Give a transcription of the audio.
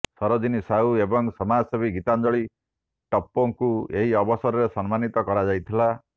ସରୋଜିନୀ ସାହୁ ଏବଂ ସମାଜସେବୀ ଗୀତାଞ୍ଜଳୀ ଟପ୍ପୋଙ୍କୁ ଏହି ଅବସରରେ ସମ୍ମାନିତ କରାଯାଇଥିଲା